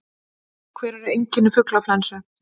Hver eru einkenni fuglaflensu?